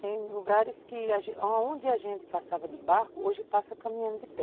Tem lugares que, onde a gente passava de barco, hoje passa caminhando de pé.